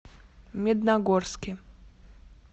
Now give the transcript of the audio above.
медногорске